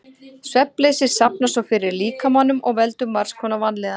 Svefnleysi safnast svo fyrir í líkamanum og veldur margs konar vanlíðan.